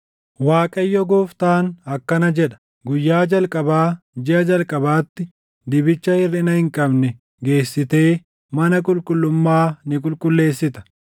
“‘ Waaqayyo Gooftaan akkana jedha: Guyyaa jalqabaa, jiʼa jalqabaatti dibicha hirʼina hin qabne geessitee mana qulqullummaa ni qulqulleessita.